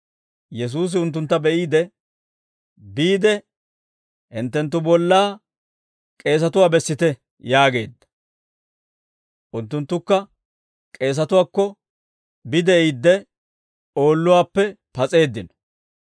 Yesuusi unttuntta be'iide, «Biide, hinttenttu bollaa k'eesatuwaa bessite» yaageedda. Unttunttukka k'eesatuwaakko bide'iidde oolluwaappe pas'eeddino.